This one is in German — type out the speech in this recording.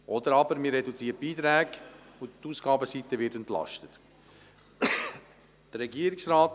Oder man reduziert die Beiträge, sodass die Ausgabenseite entlastet wird.